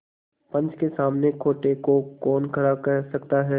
पंच के सामने खोटे को कौन खरा कह सकता है